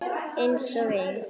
Einsog ein.